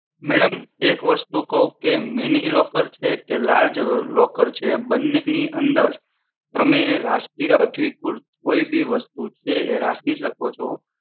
madam એક વસ્તુ કહું કે mini locker છે કે large locker છે બંને ની અંદર તમે રાષ્ટ્રીય અધિકૃત કોઈ બી વસ્તુ છે એ રાખી શકો છો